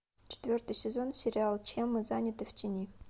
четвертый сезон сериала чем мы заняты в тени